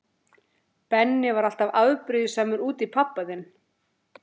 Benni var alltaf afbrýðisamur út í pabba þinn.